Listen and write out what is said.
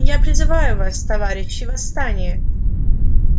я призываю вас товарищи восстание